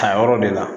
A yɔrɔ de la